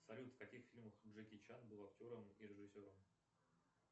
салют в каких фильмах джеки чан был актером и режиссером